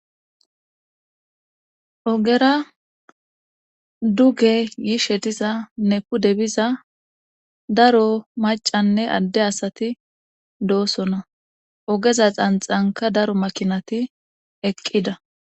ogera duge yiishe diza ne pude biza daro macanne adde asati doosona ogeza xanxanka daro makinati eqqida